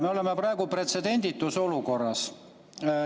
Me oleme praegu pretsedenditus olukorras.